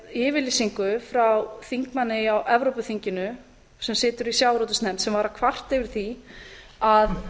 yfirlýsing frá þingmanni í evrópuþinginu sem situr í sjávarútvegsnefnd sem var að kvarta yfir því að